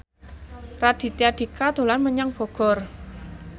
Raditya Dika dolan menyang Bogor